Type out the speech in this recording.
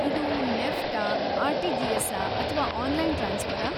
ಇದು ನೆಫ್ಟಾ , ಆರ್‌.ಟಿ.ಜಿ.ಎಸ್ಸಾ, ಅಥ್ವಾ ಆನ್‌ಲೈನ್‌ ಟ್ರಾನ್ಸ್‌ಫರ್ರಾ?